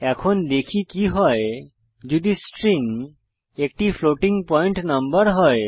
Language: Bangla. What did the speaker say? এখন দেখি কি হয় যদি স্ট্রিং একটি ফ্লোটিং পয়েন্ট নম্বর হয়